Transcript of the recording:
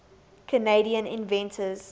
canadian inventors